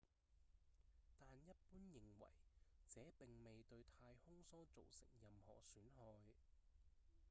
但一般認為這並未對太空梭造成任何損害